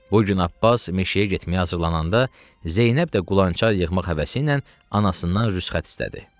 Bu gün Abbas meşəyə getməyə hazırlaşanda Zeynəb də qulançar yığmaq həvəsi ilə anasından rüsxət istədi.